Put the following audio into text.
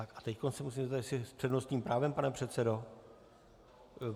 A teď se musím zeptat - s přednostním právem, pane předsedo?